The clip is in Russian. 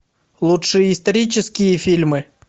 лучшие исторические фильмы